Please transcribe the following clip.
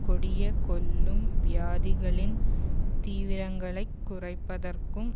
கொடிய கொல்லும் வியாதிகளின் தீவிரங்களைக் குறைப்பதற்கும்